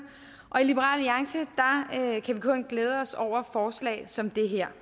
og i liberal alliance kan vi kun glæde os over forslag som det her